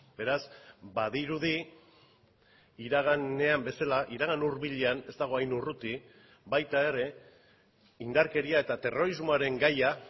beraz badirudi iraganean bezala iragan hurbilean ez dago hain urruti baita ere indarkeria eta terrorismoaren gaia